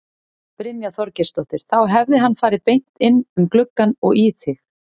Brynja Þorgeirsdóttir: Þá hefði hann farið beint inn um gluggann og í þig?